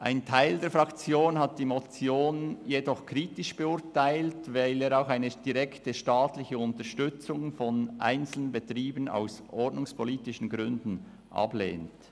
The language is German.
Ein Teil der Fraktion hat die Motion jedoch kritisch beurteilt, weil sie eine direkte staatliche Unterstützung von einzelnen Betrieben aus ordnungspolitischen Gründen ablehnt.